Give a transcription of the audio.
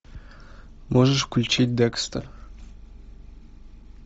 можешь включить декстер